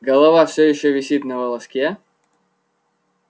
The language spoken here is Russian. голова все ещё висит на волоске